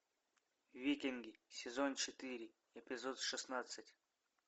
викинги сезон четыре эпизод шестнадцать